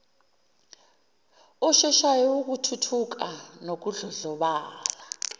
osheshayo wokuthuthuka nokudlondlobala